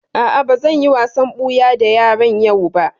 A'a, ba zan yi wasan ɓuya da yaran yau ba